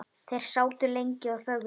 Þeir sátu lengi og þögðu.